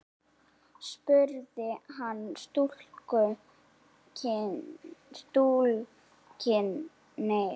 spurði hann túlkinn sinn.